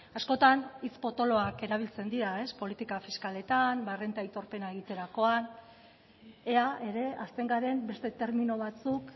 askotan hitz potoloak erabiltzen dira politika fiskaletan errenta aitorpena egiterakoan ea ere hasten garen beste termino batzuk